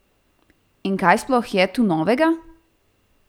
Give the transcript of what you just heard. In kaj sploh je tu novega?